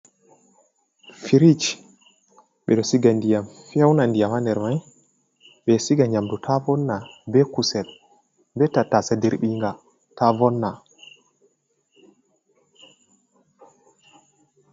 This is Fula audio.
Firich ɓeɗo Siga Ndiyam Feuna nder, ɓeɗo Siga Yamdu Ta Vonna, be Kusel be Tattase Dirɓinga Ta Vonna.